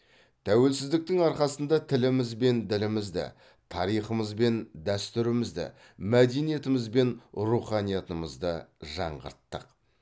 тәуелсіздіктің арқасында тіліміз бен ділімізді тарихымыз бен дәстүрімізді мәдениетіміз бен руханиятымызды жаңғырттық